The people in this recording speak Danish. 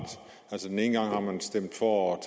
altså den ene gang har man stemt for at